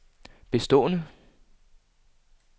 bestående